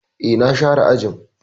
E, na share ajin.